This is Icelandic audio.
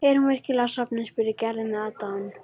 Er hún virkilega sofnuð? spurði Gerður með aðdáun.